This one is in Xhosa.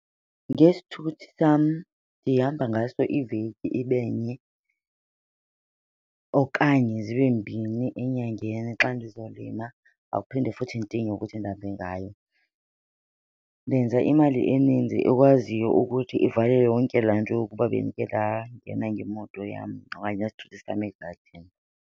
Ngesithuthi sam ndihamba ngaso iveki ibe nye okanye zibe mbini enyangeni xa ndizolima, akuphinde futhi ndidinge ukuthi ndihambe ngayo. Ndenza imali eninzi ekwaziyo ukuthi ivale yonke laa nto yokuba bendike ndangena ngemoto yam okanye ngesithuthi sam egadini.